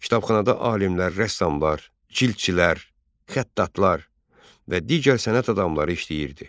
Kitabxanada alimlər, rəssamlar, cildçilər, xəttatlar və digər sənət adamları işləyirdi.